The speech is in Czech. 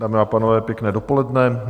Dámy a pánové, pěkné dopoledne.